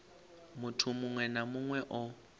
muthu muṅwe na muṅwe o